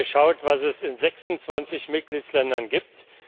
Wir haben geschaut, was es in 26 Mitgliedsländern gibt.